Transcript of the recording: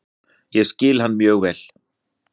Ég skil hann mjög vel.